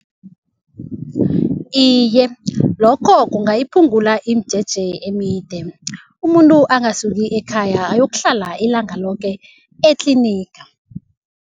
Iye, lokho kungayiphungula imijeje emide. Umuntu angasuki ekhaya ayokuhlala ilanga loke etliniga.